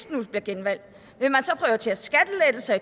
den bliver genvalgt vil man så prioritere skattelettelser